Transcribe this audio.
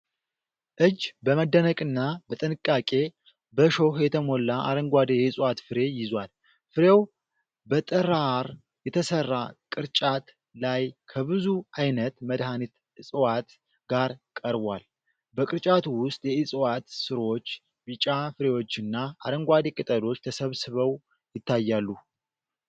እጅ በመደነቅና በጥንቃቄ በእሾህ የተሞላ አረንጓዴ የዕፅዋት ፍሬ ይዟል። ፍሬው በጥራር የተሰራ ቅርጫት ላይ ከብዙ ዓይነት መድኃኒት ዕፅዋት ጋር ቀርቧል፤ በቅርጫቱ ውስጥ የዕፅዋት ሥሮች፣ ቢጫ ፍሬዎችና አረንጓዴ ቅጠሎች ተሰብስበው ይታያሉ።